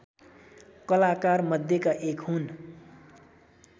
कलाकारमध्येका एक हुन्